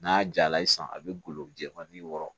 N'a jala ye sisan a bɛ golo jɛfan ni wɔɔrɔ